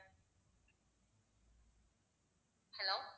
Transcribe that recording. hello